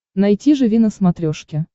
найти живи на смотрешке